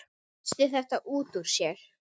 Missti þetta út úr sér.